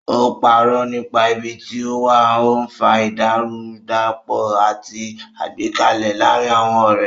Ó parọ́ nípa ibi tí ó wà, ó ń fa ìdàrúdàpọ̀ àti àìgbẹ́kẹ̀lé láàárín àwọn ọ̀rẹ́.